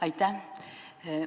Aitäh!